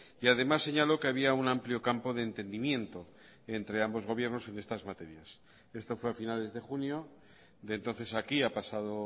y además señaló que había un amplio campo de entendimiento entre ambos gobiernos en estas materias esto fue a finales de junio de entonces a aquí ha pasado